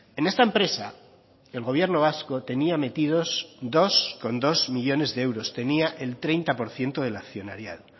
en esta empresa el gobierno vasco tenía metidos dos coma dos millónes de euros tenía el treinta por ciento del accionariado